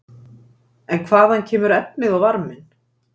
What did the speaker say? En hvaðan kemur efnið og varminn?